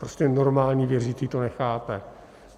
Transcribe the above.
Prostě normální věřící to nechápe.